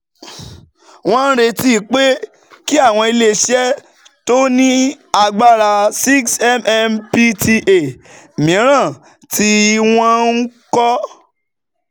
Wọ́n retí pé kí àwọn ilé iṣẹ́ tó ní agbára 6mmpta mìíràn tí wọ́n ń kọ́